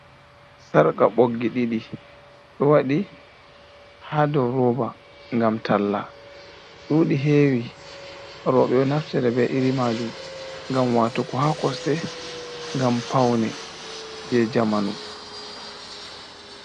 Sarqa boggi ɗiɗi ɗo waɗi ha ɗo roba ngam talla, dudi hewi roɓe ɗo naftere ɓe iri majum ngam wato ko ha kosɗe gam paune je jamanu.